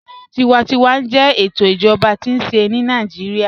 Tíwàntíwà jẹ ètò ìjọba tí a nṣẹ̀ ni Naijiria.